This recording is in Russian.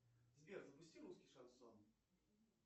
сбер запусти русский шансон